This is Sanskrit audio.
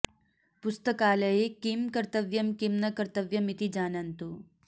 पुस्तकालये किं कर्तव्यम् किं न कर्तव्यम् इति जानन्तु